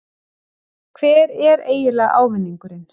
Hver er eiginlega ávinningurinn?